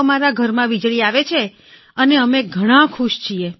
અમારા ઘરમાં વીજળી આવે છે અને અમે ઘણાં ખુશ છીએ